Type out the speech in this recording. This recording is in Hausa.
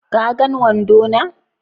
Ka gan wando na?